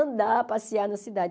andar, passear na cidade.